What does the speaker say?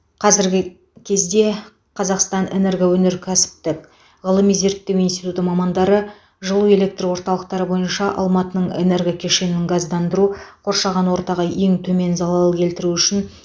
қазіргі кезде қазақстан энергоөнеркәсіптік ғылыми зерттеу институты мамандары жылу электр орталықтары бойынша алматының энергокешенін газдандыру қоршаған ортаға ең төмен залал келтіру үшін